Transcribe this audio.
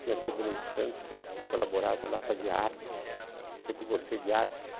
Tinha a Tribuna de Santos, que eu colaborava lá, fazia artes, sempre gostei de arte.